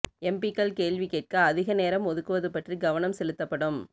எம்பிக்கள் கேள்வி கேட்க அதிகம் நேரம் ஒதுக்குவது பற்றி கவனம் செலுத்தப்படும்